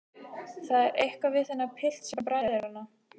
Það er eitthvað við þennan pilt sem bræðir hana.